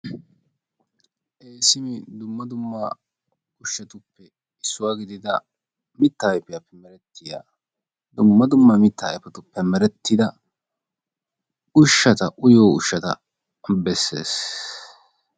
issi dumma dumma ushshatuppe issuwa gididda mitaa ayfiyaape meretiya dumma dumma mita ayfetuppe meretida ushshata uyiyo ushata bessees.